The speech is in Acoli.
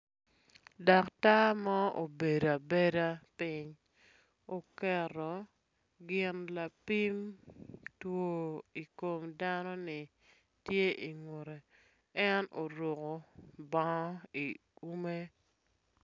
Daktar mo obedo abeda piny oketo gin lapim two i kom dano-ni tye ingutte, en oruku bongo i ume